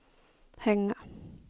hänga